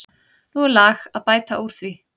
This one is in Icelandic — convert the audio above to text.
Nú er lag að bæta úr því.